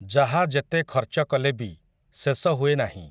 ଯାହା ଯେତେ ଖର୍ଚ୍ଚ କଲେ ବି, ଶେଷ ହୁଏ ନାହିଁ ।